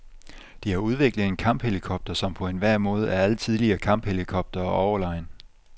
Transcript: De har udviklet en kamphelikopter, som på enhver måde er alle tidligere kamphelikoptere overlegen.